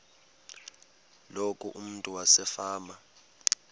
loku umntu wasefama